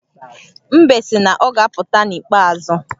Mbe sị na ọ ga-apụta n’ikpeazụ